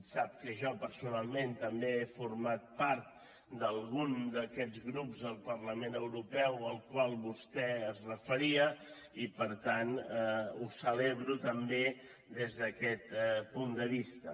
sap que jo personalment també he format part d’algun d’aquests grups al parlament europeu als quals vostè es referia i per tant ho celebro també des d’aquest punt de vista